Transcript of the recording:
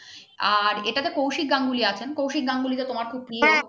আর এইটাতে কৌশিক গাঙ্গুলী আছেন কৌশিক গাঙ্গুলী তো তোমার খুব প্রিয়